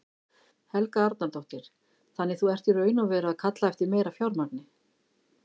Helga Arnardóttir: Þannig þú ert í raun og veru að kalla eftir meira fjármagni?